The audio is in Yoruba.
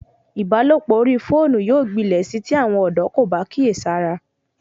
Ìbálòpọ̀ orí fóònù yóò gbilẹ̀ sí tí àwọn ọ̀dọ́ kò bá kíyèsára